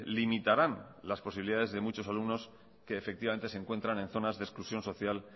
limitarán las posibilidades de muchos alumnos que efectivamente se encuentran en zonas de exclusión social